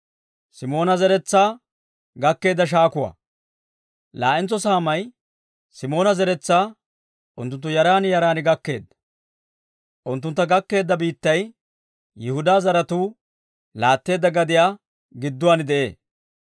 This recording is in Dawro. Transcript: Laa"entso saamay Simoona zeretsaa unttunttu yaran yaran gakkeedda. Unttuntta gakkeedda biittay Yihudaa zaratuu laatteedda gadiyaa gidduwaan de'ee.